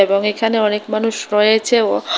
ও এখানে অনেক মানুষ রয়েছে ও--